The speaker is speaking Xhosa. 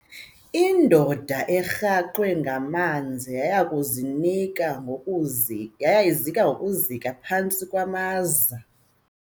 Indoda erhaxwe ngamanzi yaya kuzinika ngokuzi yaya izika ngokuzika phantsi kwamaza.